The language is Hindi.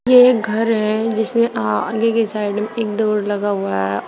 वे घर है जिसमें आगे के साइड एक डोर लगा हुआ है और--